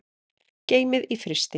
Geymið í frysti.